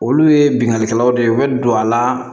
Olu ye bingannikɛlaw de ye u bɛ don a la